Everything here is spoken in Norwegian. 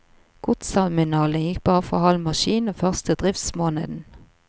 Godsterminalen gikk bare for halv maskin den første driftsmåneden.